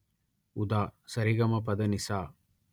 ఉదా స రి గ మ ప మ ప ద ని సా